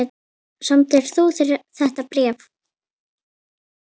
Samdir þú þetta bréf?